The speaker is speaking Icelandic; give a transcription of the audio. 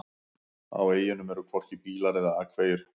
Á eyjunum eru hvorki bílar eða akvegir.